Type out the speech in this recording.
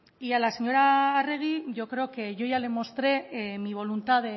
y a la señora arregi yo creo que yo ya le mostré mi voluntad